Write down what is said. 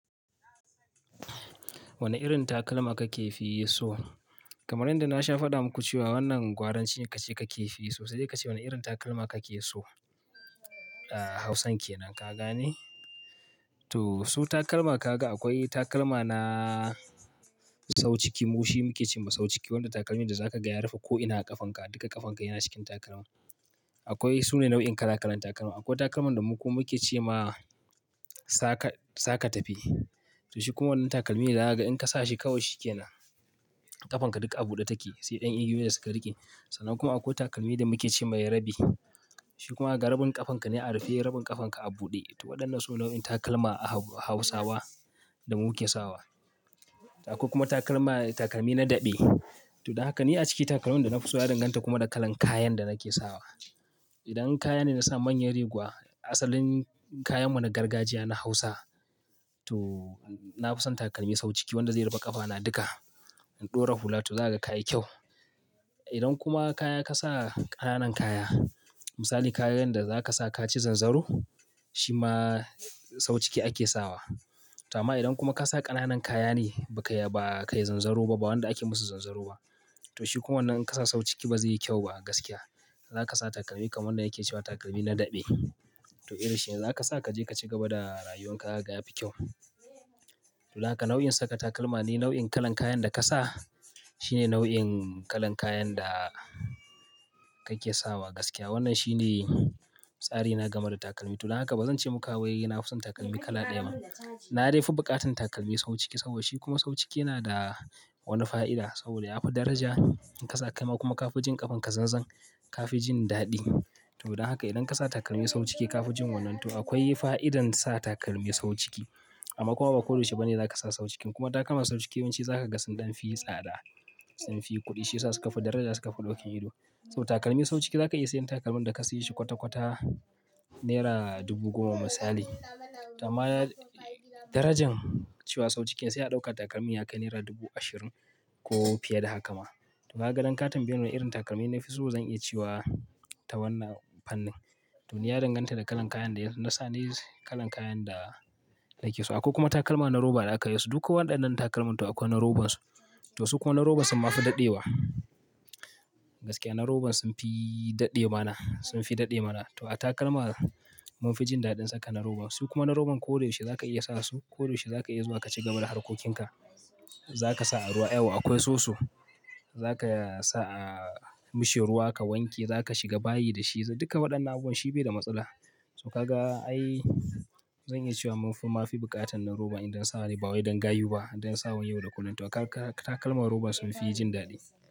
Wane irin takalma kake fi so? Kamar yanda na sha faɗa muku cewa wannan gwaranci ne kace kake fi so. Sai dai kace wane irin takalma kake so. Ah Hausan kenan ka gane? To su takalma kaga akwai takalma na sau ciki. Mu shi muke cewa sau ciki, wanda takalmin da zaka gaya rufa ko ina a ƙafanka, duka ƙafanka yana cikin takalmin. Akwai, su ne nau'in kala kalan takalma. Akwai takalman da mu kuma muke ce ma saka, saka tafi. To shi kuma wannan takalmi ne da zaha ga in ka sa shi kawai shi ke nan. Ƙafanka duk a buɗe take, sai ɗan igiyoyi da suka riƙe. Sannan kuma akwai takalmi da muke ce mai rabi. Shi kuma ga rabin ƙafanka ne a rufe, rabin ƙafanka a buɗe. To waɗannan su ne nau'in takalma a hau-Hausawa da muke sawa. Akwai kuma takalma, takalmi na daɗe. To don haka ni a ciki takalmun da na fi so na danganta kuma da kalan kayan da nake sawa. Idan kaya ne na sa manyan reguwa, asalin kayan wani gargajiya na Hausa to na fi son takalmi sau ciki wanda zai raba ƙafana duka. In ɗora hula to zaha ga kayi kyau. Idan kuma kaya ka sa ƙananan kaya, misali kayan da zaka sa kaci zanzaro, shi ma sau ciki ake sawa. To amma idan kuma ka sa ƙananan kaya ne ba ka, ba ka yi zanzaro ba, ba wanda ake musu zanzaro ba. To shi kuma wannan in ka sa sau ciki ba zai yi kyau ba a gaskiya. Zaka sa takalmi kaman wanda yake cewa takalmi na dabe. To irin shi ne zaka sa ka je ka ci gaba da rayuwan ka zaha ga ya fi kyau. Don haka nau'in saka takalma ne nau'in kalan kayan da ka sa. Shi ne nau'in kalan kayan da kake sawa gaskiya. Wannan shi ne tsari na game da takalmi. To don haka ba zan ce muka wai na fi son takalmi kala ɗaya ba. Na dai fi buƙatan takalmi sau ciki saboda shi kuma sau ciki yana da wani fa'ida. Saboda ya fi daraja in ka sa kai ma kuma ka fi jin ƙafanka zanzan, ka fi jin daɗi. To don haka idan ka sa takalmi sau ciki ka fi jin wannan, to akwai fa'idan sa takalmi sau ciki. Amma kuma ba koda yaushe ba ne za ka sa sau cikin. Kuma takalma sau ciki yawanci zaha ga sun ɗan fi tsada. Sun fi kuɗi, shi ya sa suka fi daraja, suka fi ɗokin ido. Saboda takalmi sau ciki zaka iya sayan takalmin da ka sayi shi kwata-kwata nera dubu goma misali. To amma darajan cewa sau ciki ne sai a ɗauka takalmin ya kai naira dubu ashirin ko fiye da haka ma. To haga nan ka tambaye ni irin takalmin da na fi so, zan iya cewa ta wannan fannin. To ni ya danganta da kalan kayan da yana, na sa ne kalan kayan da nake sawa. Akwai kuma takalma na roba da aka yi su. Duk waɗannan takalman to akwai na robansu. To su kuma na roban summa fi daɗewa. Gaskiya na roban sun fi daɗe mana, sun fi daɗe mana. To a takalma mun fi jin daɗin saka na roba. Su kuma na roban ko da yaushe za ka iya sa su, ko da yaushe za ka iya zuwa ka ci gaba da harkokinka. Za ka sa a ruwa, yawwa akwai soso. Za ka sa a mishi ruwa ka wanke, za ka shiga bayi da shi, duka waɗannan abubuwan shi bai da matsala. To ka ga ai zan iya cewa mun fi, mun ma fi buƙatan na roba idan sawa ne ba wai don gayu ba, idan sawa ne yau da kullum. To takalma na roba sun fi jin daɗi.